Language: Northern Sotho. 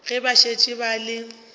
ge ba šetše ba le